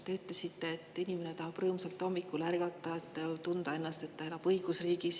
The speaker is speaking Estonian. Te ütlesite, et inimene tahab hommikul rõõmsalt ärgata, tunda, et ta elab õigusriigis.